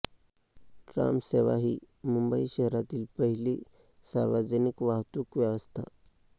ट्रामसेवा ही मुंबई शहरातील पहिली सार्वजनिक वाहतूक व्यवस्था